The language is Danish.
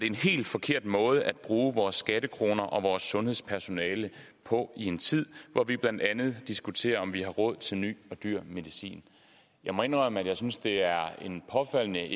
en helt forkert måde at bruge vores skattekroner og vores sundhedspersonale på i en tid hvor vi blandt andet diskuterer om vi har råd til ny og dyr medicin jeg må indrømme at jeg synes det er en påfaldende